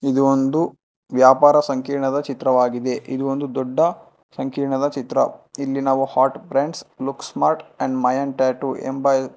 ಇದು ಒಂದು ವ್ಯಾಪಾರ ಸಂಕಿರಣದ ಚಿತ್ರವಾಗಿದೆ ಇದು ಒಂದು ದೊಡ್ಡ ಸಂಕಿರಣದ ಚಿತ್ರ ಇಲ್ಲಿ ನಾವು hot brands look smart and Mayan tattoo ಎಂಬ--